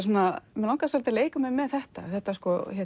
mig langaði svolítið að leika mér með þetta þetta